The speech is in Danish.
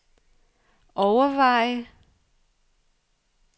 overveje